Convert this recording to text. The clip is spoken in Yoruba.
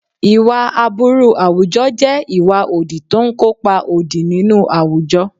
Ìwà aburú àwùjọ jẹ́ ìwà òdì tó ń kópa òdì nínú àwùjọ.